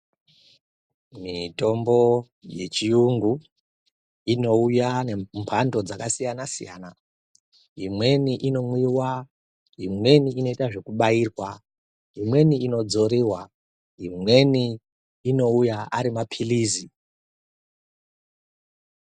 Mitombo yechiyungu inouya nembando dzakasiyana-siyana, Imweni inomwiwa, imweni inoita zvekubairwa. Imweni inodzoriwa imweni inouya ari maphilizi.